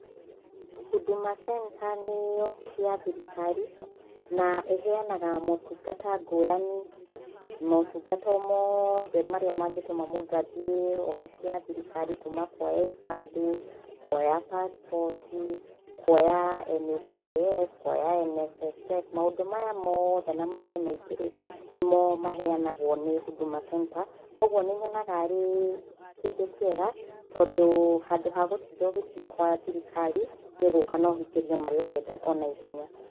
Huduma center nĩ obici ya thirikari na ĩheanaga motungata ngũrani, motungata o mothe marĩa mangĩtuma mũndũ athiĩ obici ya thirikari kuma kũoya ibandĩ, kuoya pasipoti, kuoya NHIF, kuoya NSSF, maũndũ maya mothe na mangĩ maigĩ rĩ, nĩmo maheanagwo nĩ Huduma center kwoguo nĩnyonaga arĩ kĩndũ kĩega tondũ handũ ha gũtinda ũgĩthĩ gwa thirikari nĩũguka na ũhingĩrio marĩa ũrenda o na ihenya.